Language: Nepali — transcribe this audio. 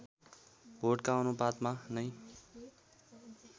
भोटका अनुपातमा नै